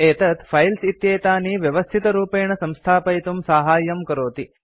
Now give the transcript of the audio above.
एतत् फाइल्स् इत्येतानि व्यवस्थितरूपेण संस्थापयितुं साहाय्यं करोति